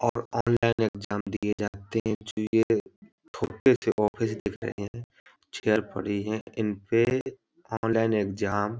और online exam दिए जाते हैं सी ऑफिस दिख रही है चेयर पड़ी हैं इनपे ऑनलाइन एग्जाम --